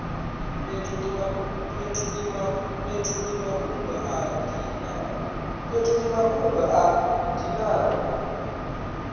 fhethu ndi mafhungo a dinaho